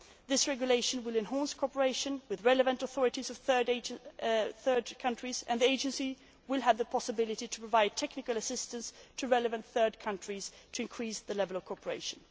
This regulation will enhance cooperation with the relevant authorities in third countries, and the Agency will have the possibility of providing technical assistance to relevant third countries to increase the level of cooperation.